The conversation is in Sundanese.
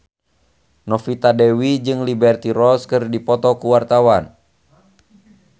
Novita Dewi jeung Liberty Ross keur dipoto ku wartawan